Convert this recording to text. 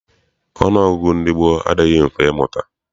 Ọnụọgụgụ ndị gboo adịghị mfe ịmụta.